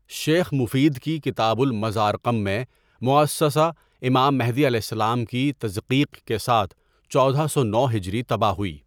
شیخ مفید کی کتاب المزار قم میں مؤسسہ امام مہدی کی تضقیق کے ساتھ چودہ سو نو ہجری طبع ہوئی.